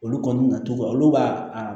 Olu kɔni na cogo olu b'a